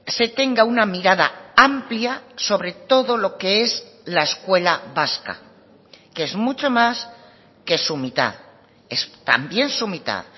se tenga una mirada amplia sobre todo lo que es la escuela vasca que es mucho más que su mitad es también su mitad